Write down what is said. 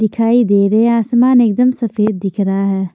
दिखाई दे रहे हैं आसमान एकदम सफेद दिख रहा है।